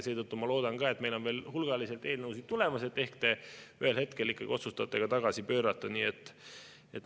Seetõttu ma loodan – meil on veel hulgaliselt eelnõusid tulemas –, et ehk te ühel hetkel ikkagi otsustate ka tagasi pöörata.